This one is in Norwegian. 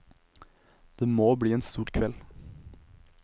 Det må bli en stor kveld.